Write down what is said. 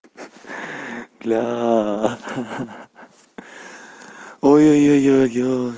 бля ха-ха ой ой ой ой ой